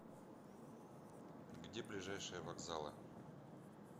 где ближайшие вокзалы